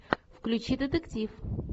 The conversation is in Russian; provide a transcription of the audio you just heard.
включи детектив